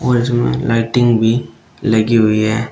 और इसमें लाइटिंग भी लगी हुई है।